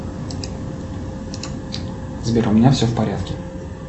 сбер у меня все в порядке